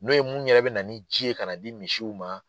N'o ye mun yɛrɛ bɛ na ni ji ye kan'a di misiw ma